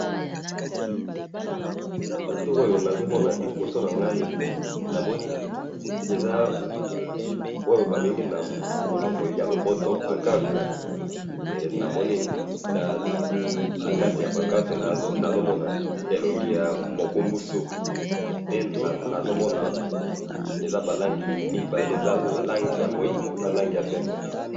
Photo oyo nazomona liboso na ngai namoni eza oyo babengi na munoko ya lopoto pancarte na kati ya pancarte nazomona elongi ya mokumbusu pe nazomona eza ba langi mibale eza langi ya moindo na langi ya pembe